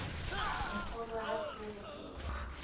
nkgolwe ha ke re ke